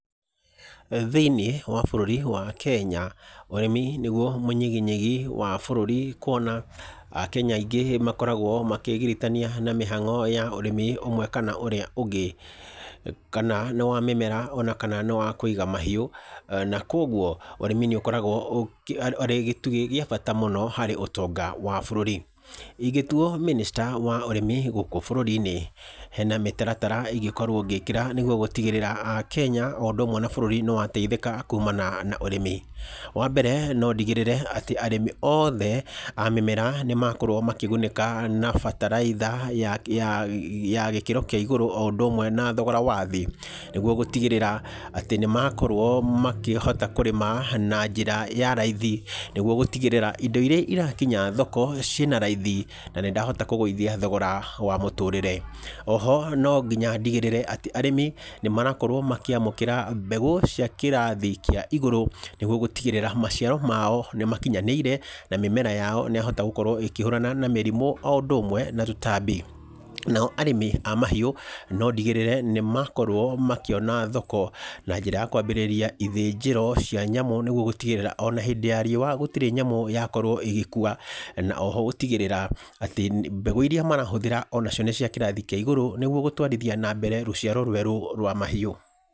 Thĩiniĩ wa bũrũri wa Kenya, ũrĩmi nĩguo mũnyiginyigi wa bũrũri, kuona akenya aingĩ makoragwo makĩgiritania na mĩhango ya ũrĩmi ũmwe, kana ũrĩa ũngĩ. Kana nĩ wa mĩmera, ona kana nĩ wa kũiga mahiũ. Na koguo ũrĩmi nĩ ũkoragwo ũrĩ gĩtugĩ gĩa bata mũno harĩ ũtonga wa bũrũri. Ingĩtuo mĩnĩsta wa ũrĩmi gũkũ bũrũri-inĩ, hena mĩtaratara ingĩkorwo ngĩkĩra nĩguo gũtigĩrĩra akenya o ũndũ ũmwe na bũrũri nĩ wateithĩka kuumana na ũrĩmi. Wa mbere no ndigĩrĩre atĩ arĩmi othe a mĩmera nĩ makorwo makĩgunĩka na bataraitha ya gĩkĩro kia igũrũ, o ũndũ ũmwe na thogora wa thĩ nĩguo gũtigĩrĩra atĩ nĩ makorwo makĩhota kũrĩma na njĩra ya raithi, nĩguo gũtigĩrĩra indo iria irakinya thoko ci ĩna raithi na ndĩhatoka kũgũithia thogora wa mũtũrĩre. Oho no nginya ndĩgĩrĩre atĩ arĩmi nĩ marakorwo makĩamũkĩra mbagũ cia kĩrathi kaĩ igũrũ, nĩguo gũtigĩrĩra maciaro mao nĩ makinyanĩire, na mĩmera yao nĩ ya hota gũkorwo ikĩhũrana na mĩrimũ, o ũndũ ũmwe na tũtambi. Nao arĩmi a mahiũ no ndigĩrĩre nĩ makorwo makĩona thoko na njĩra ya kwambĩrĩria ithĩnjĩro cia nyamũ nĩguo gũtigĩrĩra ona hĩndĩ ya riũa gũtirĩ nyamũ yakorwo ĩgĩkua, na oho gũtigĩrĩra atĩ mbegũ iria marahũthĩra ona cio nĩ cia kĩrathi kĩa igũrũ, nĩguo gũtwarithia na mbere rũciaro rwerũ rwa mahiũ.